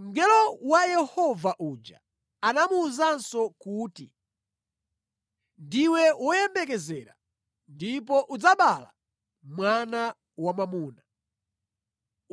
Mngelo wa Yehova uja anamuwuzanso kuti, “Ndiwe woyembekezera ndipo udzabala mwana wamwamuna.